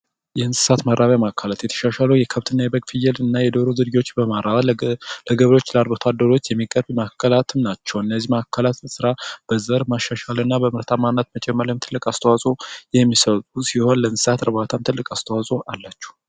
የእንስሳት ማራቢያ ማዕከላት የተሻሻሉ የፍየል የበግ እንዲሁም የዶሮ ዝርያዎችን በማለት ላይ የሚገኙት ናቸው። እነዚህ ማዕከላት የዘር ማሻሻል በምርታማነት ትልቅ አስተዋጽኦ የሚያበረከቱ ሲሆን እንስሳት እርባታም ትልቅ አስተዋጾ አላቸው።